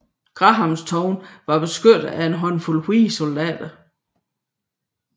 Grahamstown var beskyttet af en håndfuld hvide soldater